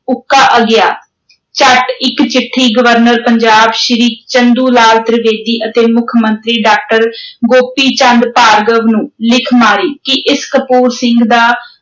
ਉੱਕਾ ਅਗਿਆਤ, ਝੱਟ ਇਕ ਚਿੱਠੀ ਗਵਰਨਰ ਪੰਜਾਬ, ਸ੍ਰੀ ਚੰਦੂ ਲਾਲ ਤ੍ਰਿਵੇਦੀ ਅਤੇ ਮੁੱਖ ਮੰਤਰੀ ਡਾਕਟਰ ਗੋਪੀ ਚੰਦ ਭਾਰਗਵ, ਨੂੰ ਲਿਖ ਮਾਰੀ ਕਿ ਇਸ ਕਪੂਰ ਸਿੰਘ ਦਾ